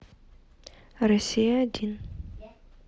россия один